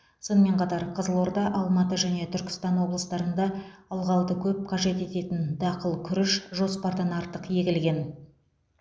сонымен қатар қызылорда алматы және түркістан облыстарында ылғалды көп қажет ететін дақыл күріш жоспардан артық егілген